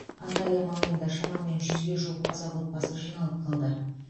анталия маңайында шамамен жүзге жуық қазақ отбасы жиналып қалды